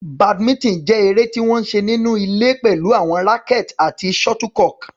Badminton jẹ́ eré tí wọ́n ń ṣe nínú ilé pẹ̀lú àwọn rackets àti shuttlecock.